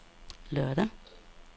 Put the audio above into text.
lørdag